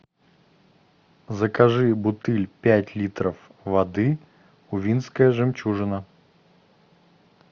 закажи бутыль пять литров воды увинская жемчужина